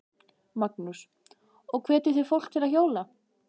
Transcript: Magnús: Og hvetjið þið fólk til að hjóla?